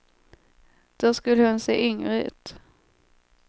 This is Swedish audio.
Då skulle hon se yngre ut.